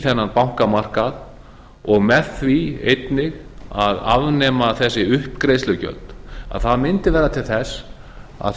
þennan bankamarkað og með því einnig að afnema þessi uppgreiðslugjöld það mundi vera til þess að